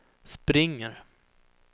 springer